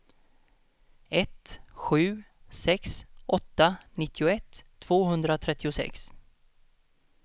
ett sju sex åtta nittioett tvåhundratrettiosex